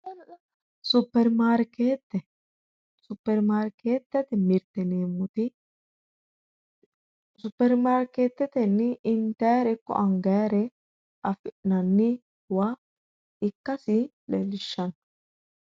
Superimaarkete, superimarkete superimaarketetenni intannire ikko angannire afi'nanniwa ikkasi leelishshano.